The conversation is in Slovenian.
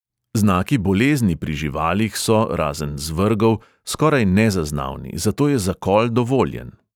Znaki bolezni pri živalih so, razen zvrgov, skoraj nezaznavni, zato je zakol dovoljen.